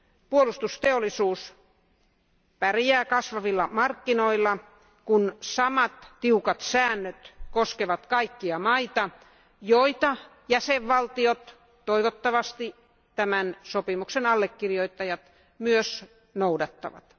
Puolustusteollisuus pärjää kasvavilla markkinoilla, kun samat tiukat säännöt koskevat kaikkia maita, joita jäsenvaltiot toivottavasti tämän sopimuksen allekirjoittajat myös noudattavat.